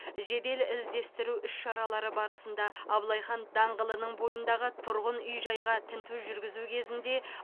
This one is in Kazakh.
жедел іздестіру іс шаралары барысында абылай хан даңғылының бойындағы тұрғын үй жайға тінту жүргізу кезінде